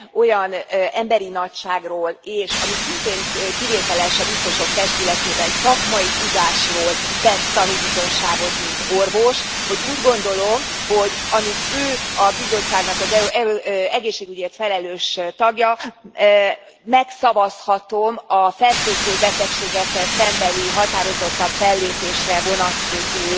Olyan emberi nagyságról és ami szintén kivételes a biztosok testületében szakmai tudásról tett tanúbizonyságot mint orvos, hogy úgy gondolom, hogy amíg ő a Bizottságnak az egészségügyért felelős tagja, megszavazhatom a fertőző betegségekkel szembeni határozottabb fellépésre vonatkozó